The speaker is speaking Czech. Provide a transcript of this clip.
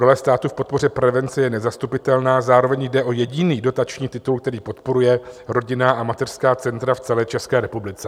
Role státu v podpoře prevence je nezastupitelná, zároveň jde o jediný dotační titul, který podporuje rodinná a mateřská centra v celé České republice.